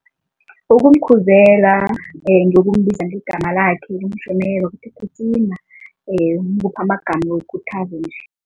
Ukumkhuzela ngokumbiza ngegama lakhe ukuthi gijima umuphe amagama wekuthalo nje.